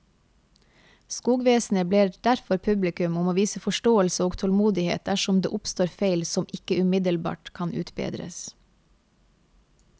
Skogvesenet ber derfor publikum om å vise forståelse og tålmodighet dersom det oppstår feil som ikke umiddelbart kan utbedres.